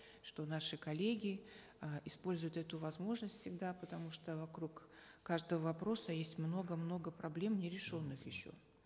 что наши коллеги э используют эту возможность всегда потому что вокруг каждого вопроса есть много много проблем нерешенных еще